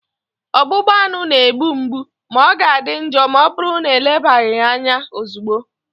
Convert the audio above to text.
Ọgbụgba aṅụ na-egbu mgbu ma ọ ga-adị njọ ma ọbụrụ na elebaghị ya anya ozugbo